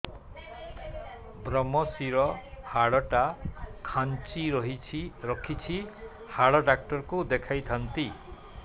ଵ୍ରମଶିର ହାଡ଼ ଟା ଖାନ୍ଚି ରଖିଛି ହାଡ଼ ଡାକ୍ତର କୁ ଦେଖିଥାନ୍ତି